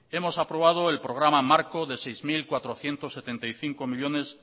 hemos aprobado el programa marco de seis mil cuatrocientos setenta y cinco millónes